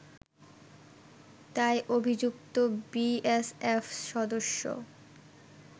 তাই অভিযুক্ত বিএসএফ সদস্য